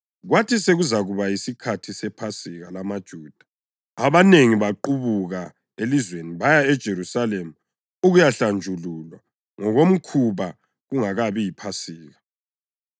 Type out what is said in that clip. Kwathi sekuzakuba yisikhathi sePhasika lamaJuda, abanengi baqubuka elizweni baya eJerusalema ukuyahlanjululwa ngokomkhuba kungakabi yiPhasika.